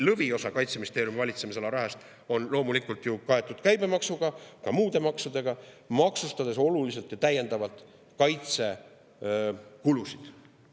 Lõviosa Kaitseministeeriumi valitsemisala rahast on loomulikult kaetud käibemaksuga, ka muude maksudega, millega oluliselt ja täiendavalt maksustatakse kaitsekulusid.